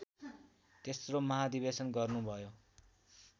तेस्रो महाधिवेशन गर्नुभयो